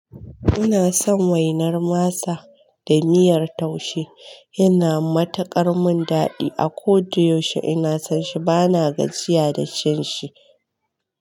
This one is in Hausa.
Ina son wainar masa da miyar taushe, yana mataƙar min daɗi. A ko da yaushe ina son shi bana gajiya da cin shi.